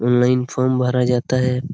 Online form भरा जाता है।